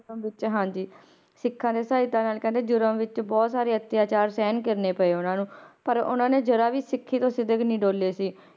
ਹੁਕਮ ਦਿੱਤੇ ਹਾਂਜੀ, ਸਿੱਖਾਂ ਦੀ ਸਹਾਇਤਾ ਨਾਲ ਕਹਿੰਦੇ ਵਿੱਚ ਬਹੁਤ ਸਾਰੇ ਅਤਿਆਚਾਰ ਸਹਿਣ ਕਰਨੇ ਪਏ ਉਹਨਾਂ ਨੂੰ ਪਰ ਉਹਨਾਂ ਨੇ ਜ਼ਰਾ ਵੀ ਸਿੱਖੀ ਤੋਂ ਸਿਦਕ ਨੀ ਡੋਲੇ ਸੀ,